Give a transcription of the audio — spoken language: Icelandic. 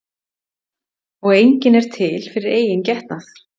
Og enginn er til fyrir eigin getnað.